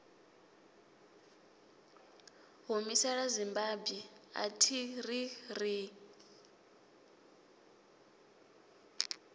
humisela zimbabwe athi ri ri